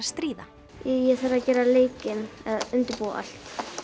stríða ég þarf að gera leikinn eða undirbúa allt